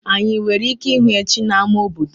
Anyị nwere ike ịhụ echi na-ama obodo?